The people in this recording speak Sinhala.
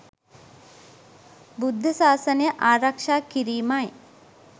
බුද්ධ සාසනය ආරක්ෂා කිරීමයි.